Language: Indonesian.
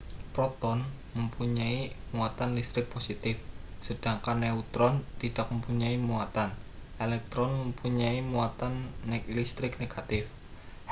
proton mempunyai muatan listrik positif sedangkan neutron tidak mempunyai muatan elektron mempunyai muatan listrik negatif